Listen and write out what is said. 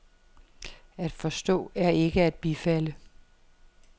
At forstå er ikke at bifalde.